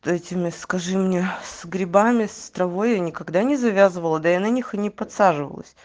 дайте мне скажи мне с грибами с травой я никогда не завязывала да я на них и не подсаживалась